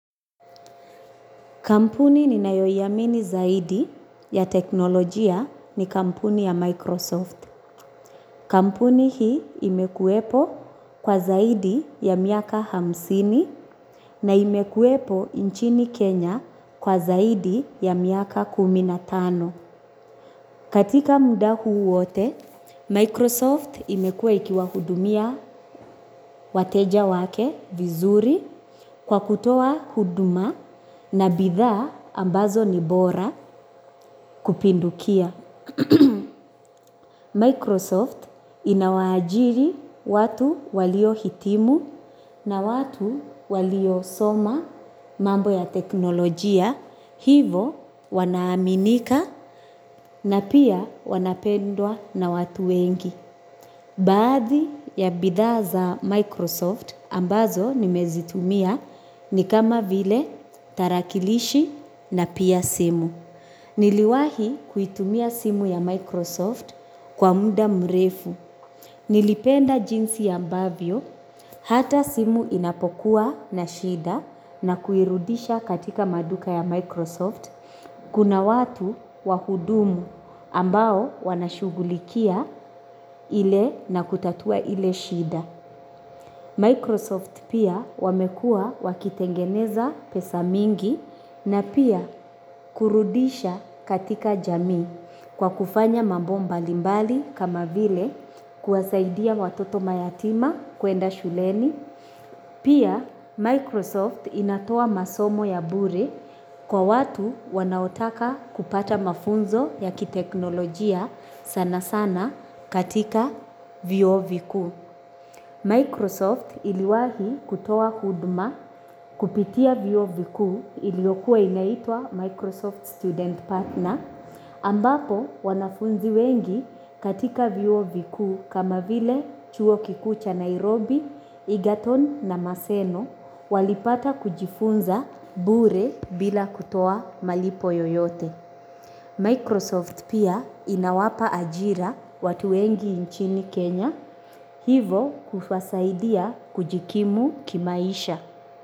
Kampuni ninayoiamini zaidi ya teknolojia ni kampuni ya Microsoft. Kampuni hii imekuwepo kwa zaidi ya miaka hamsini na imekuwepo nchini Kenya kwa zaidi ya miaka kumi na tano. Katika muda huu wote, Microsoft imekua ikiwahudumia wateja wake vizuri kwa kutoa huduma na bidhaa ambazo ni bora kupindukia. Microsoft inawaajiri watu waliohitimu na watu waliosoma mambo ya teknolojia hivo wanaaminika na pia wanapendwa na watu wengi. Baadhi ya bidhaa za Microsoft ambazo nimezitumia ni kama vile tarakilishi na pia simu. Niliwahi kuitumia simu ya Microsoft kwa muda mrefu. Nilipenda jinsi ambavyo hata simu inapokuwa na shida na kuirudisha katika maduka ya Microsoft. Kuna watu wahudumu ambao wanashughulikia ile na kutatua ile shida. Microsoft pia wamekuwa wakitengeneza pesa mingi na pia kurudisha katika jamii kwa kufanya mambo mbalimbali kama vile kuwasaidia watoto mayatima kuenda shuleni. Pia, Microsoft inatoa masomo ya bure kwa watu wanaotaka kupata mafunzo ya kiteknolojia sana sana katika vyuo vikuu. Microsoft iliwahi kutoa huduma kupitia vyuo vikuu iliyokuwa inaitwa Microsoft Student Partner. Ambapo wanafunzi wengi katika vyuo vikuu kama vile chuo kikuu cha Nairobi, Egerton na Maseno walipata kujifunza bure bila kutoa malipo yoyote. Microsoft pia inawapa ajira watu wengi nchini Kenya hivo kuwasaidia kujikimu kimaisha.